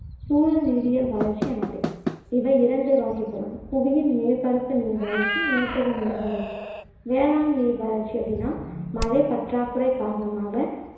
சூழல் நீரியல் வறட்சி எனப்படுகிறது இவை இரண்டு வகைப்படும் புவியின் மேற்பரப்பு நீர் வறட்சி நிலத்தடிநீர் வறட்சி வேளாண் நீர் வறட்சி அப்படின்னா மழை பற்றாக்குறை காரணமாக